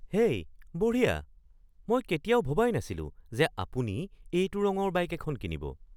হেই, বঢ়িয়া! মই কেতিয়াও ভবাই নাছিলো যে আপুনি এইটো ৰঙৰ বাইক এখন কিনিব।